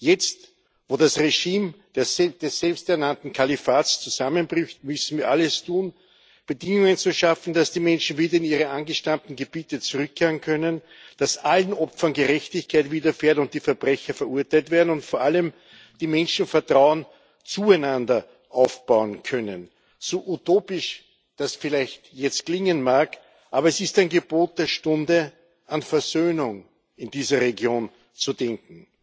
Jetzt, wo das Regime des selbst ernannten Kalifats zusammenbricht, müssen wir alles tun, Bedingungen zu schaffen, dass die Menschen wieder in ihre angestammten Gebiete zurückkehren können, dass allen Opfern Gerechtigkeit widerfährt, die Verbrecher verurteilt werden und vor allem die Menschen Vertrauen zueinander aufbauen können. So utopisch das jetzt vielleicht klingen mag, aber es ist ein Gebot der Stunde, an Versöhnung in dieser Region zu denken.